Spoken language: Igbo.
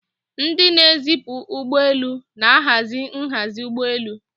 Ndị na-ezipụ ụgbọ elu na-ahazi nhazi ụgbọ elu.